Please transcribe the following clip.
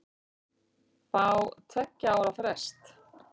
Fá tveggja ára frest